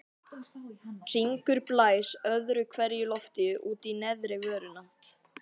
Hringur blæs öðru hverju lofti út í neðri vörina.